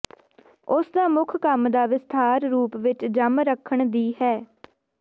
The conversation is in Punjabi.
ਉਸ ਦਾ ਮੁੱਖ ਕੰਮ ਦਾ ਵਿਸਥਾਰ ਰੂਪ ਵਿਚ ਜੰਮ ਰੱਖਣ ਦੀ ਹੈ